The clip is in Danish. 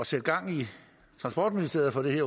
sætte gang i transportministeriet